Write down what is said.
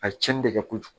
A ye tiɲɛni de kɛ kojugu